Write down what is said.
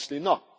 Obviously not.